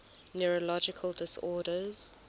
neurological disorders